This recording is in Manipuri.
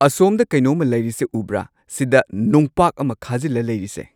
ꯑꯁꯣꯝꯗ ꯀꯩꯅꯣꯝꯃ ꯂꯩꯔꯤꯁꯦ ꯎꯕ꯭ꯔꯥ ꯁꯤꯗꯥ ꯅꯨꯡꯄꯥꯛ ꯑꯃ ꯈꯥꯖꯤꯜꯂ ꯂꯩꯔꯤꯁꯦ